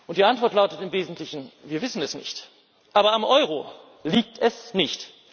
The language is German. Die Antwort lautet im Wesentlichen Wir wissen es nicht, aber am Euro liegt es nicht.